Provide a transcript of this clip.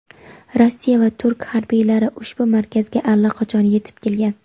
Rossiya va Turkiya harbiylari ushbu markazga allaqachon yetib kelgan.